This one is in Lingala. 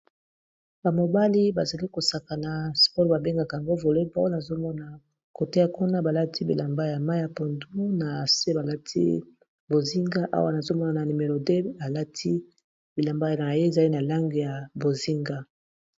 Ba mobali bazali kosakana sport babengaka ngo voleball nazomona kote kuna balati bilamba ya mayi ya pondu na se balati bozinga awa nazomona na numero 2 balati bilamba naye ezali na langi ya bozinga.